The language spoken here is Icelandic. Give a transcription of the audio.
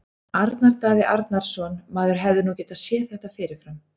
Arnar Daði Arnarsson Maður hefði nú getað séð þetta fyrir fram.